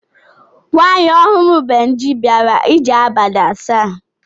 Nwaanyị ọhụrụ Benji bịara ije abalị asaa.